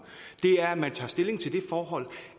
at man tager stilling til det forhold